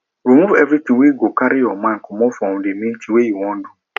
remove everything wey go carry your mind comot for the main thing wey you wan do